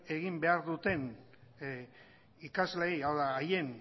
egin behar duten ikasleei hau da haien